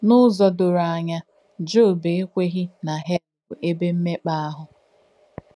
N’ùzọ̀ dòrọ̀ ànyà, Jòb è kwèghī nà Hèl bù èbè m̀mèkpà àhù.